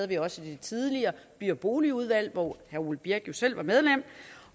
det også i det tidligere by og boligudvalg hvor herre ole birk olesen jo selv var medlem